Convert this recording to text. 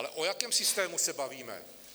Ale o jakém systému se bavíme?